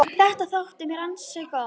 Þetta þótti mér ansi gott.